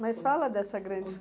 Mas fala dessa grande.